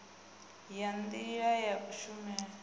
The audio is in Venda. ya nila ya kushumele i